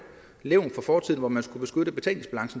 levn fra fortiden hvor man